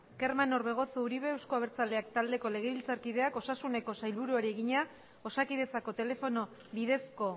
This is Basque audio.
kerman orbegozo uribe euzko abertzaleak taldeko legebiltzarkideak osasuneko sailburuari egina osakidetzako telefono bidezko